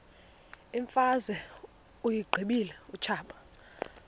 imfazwe uyiqibile utshaba